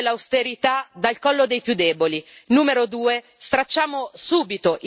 Numero uno togliamo subito il cappio dell'austerità dal collo dei più deboli